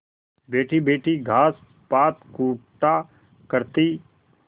बैठीबैठी घास पात कूटा करती